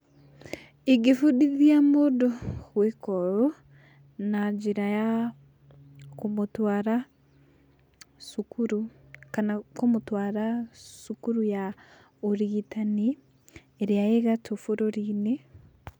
Ingĩbundithia mũndũ gwĩka ũũ, na njĩra ya kũmũtwara cukuru, kana kũmũtwara cukuru ya ũrigitani ĩrĩa ĩ gatũ bũrũri-inĩ.